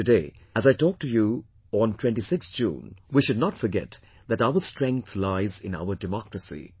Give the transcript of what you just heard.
But today, as I talk to you all on 26th June, we should not forget that our strength lies in our democracy